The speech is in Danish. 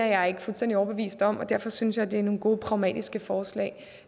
jeg ikke fuldstændig overbevist om og derfor synes jeg det er nogle gode pragmatiske forslag